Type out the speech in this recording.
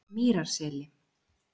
Mýrarseli